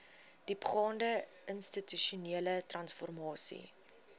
diepgaande institusionele transformasie